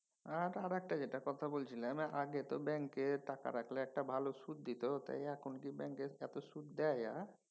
আর আরেকটা যেটা কথা বলছিলাম তা আগে তো ব্যাঙ্কে টাকা রাখলে একটা ভালো সুদ দিত তাই এখন কি ব্যাঙ্কে এত সুদ দেয়?